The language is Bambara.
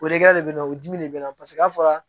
O de kɛ de bɛ na o dimi de bɛ na paseke n'a fɔra